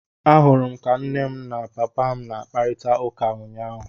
Ahụrụ m ka mama m na papa m na-akparịta ụka ụnyaahụ.